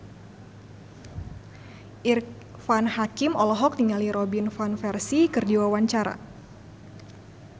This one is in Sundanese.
Irfan Hakim olohok ningali Robin Van Persie keur diwawancara